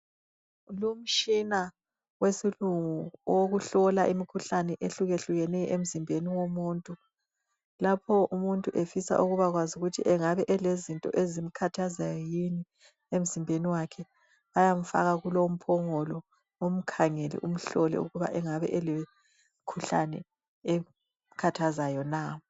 Lumtshina wesilungu, wokuhlola imikhuhlane, ehlukehlukeneyo emzimbeni womuntu. Lapho umuntu efisa ukubakwazi ukuthi kungabe kulezinto ezimkhathazayo yini emzimbeni wakhe. Bayamfaka kulo umphongolo, bamhlole ukuthi angabe elemikhuhlane emkhathazayo na?